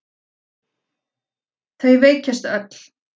Þau veikjast öll.